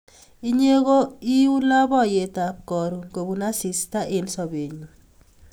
Inye ko i u lapkeyet ap karon kopun asista eng' sobennyu